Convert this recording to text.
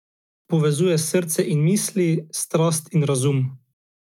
Povezuje srce in misli, strast in razum.